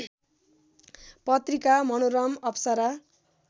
पत्रिका मनोरम अप्सरा